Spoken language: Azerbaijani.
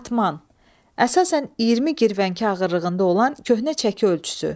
Batman, əsasən 20 girvənki ağırlığında olan köhnə çəki ölçüsü.